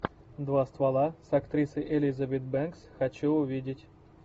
два ствола с актрисой элизабет бэнкс хочу увидеть